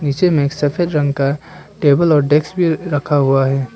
नीचे में एक सफेद रंग का टेबल और डेस्क भी रखा हुआ है।